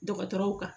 Dɔgɔtɔrɔw kan